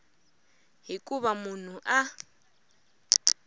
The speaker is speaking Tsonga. hi ku va munhu a